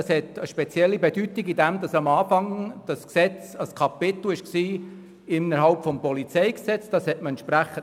Es hat eine spezielle Bedeutung in dem Sinn, als es ursprünglich lediglich ein Kapitel innerhalb des Polizeigesetzes (PolG) hätte werden sollen.